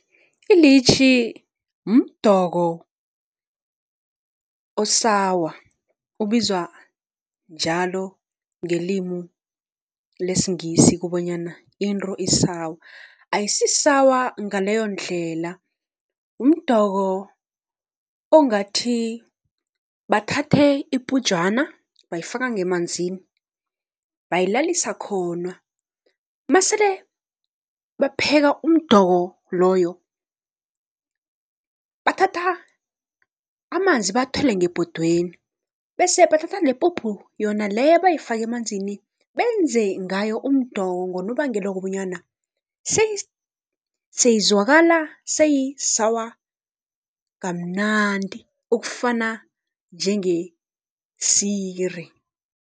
Ilitjhi mdoko o-sour ubizwa njalo ngelimu lesiNgisi kobonyana into i-sour ayisi-sour ngaleyondlela, mdoko ongathi bathathe ipujana bayifaka ngemanzini bayilalisa khona. Masele bapheka umdoko loyo, bathatha amanzi bawathele ngebhodweni bese bathatha nepuphu yona leyo abayifake emanzini benze ngayo umdoko, ngonobangela wokobonyana seyizwakala seyi-sour kamnandi ukufana njengesiri.